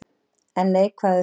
En neikvæðar hug